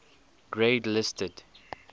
grade listed